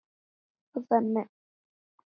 Og þannig hefur þetta gengið.